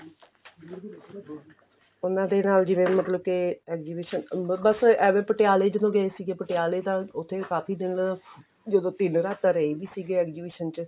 ਉਹਨਾ ਦੇ ਨਾਲ ਜਿਵੇਂ ਮਤਲਬ ਕੇ exhibition ਅਹ ਬੱਸ ਐਵੇਂ ਪਟਿਆਲੇ ਜਦੋਂ ਗਏ ਸੀਗੇ ਪਟਿਆਲੇ ਤਾਂ ਉੱਥੇ ਕਾਫੀ ਦਿਨ ਜਦੋਂ ਤਿੰਨ ਰਾਤਾਂ ਰਹੇ ਵੀ ਸੀਗੇ exhibition ਚ